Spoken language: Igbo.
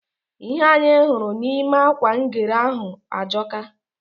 Ihe anyị hụrụ nime akwa ngwere ahụ ajọka.